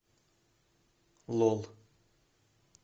лол